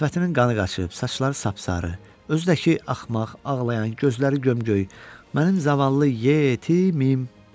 Sifətinin qanı qaçıb, saçları sapsarı, özü də ki axmaq, ağlayan, gözləri gömgöy, mənim zavallı yetimim.